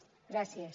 gràcies